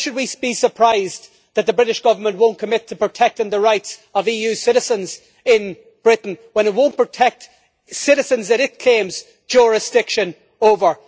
But why should we be surprised that the British Government will not commit to protecting the rights of EU citizens in Britain when it will not protect citizens that it claims jurisdiction over?